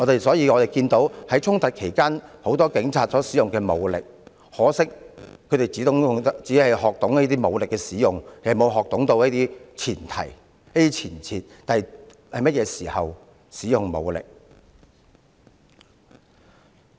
所以，我們看到很多警察在衝突期間使用武力，但很可惜，他們只學懂如何使用武力，卻沒有學懂使用武力的前提和前設，即應該在甚麼時候才使用武力。